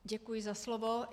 Děkuji za slovo.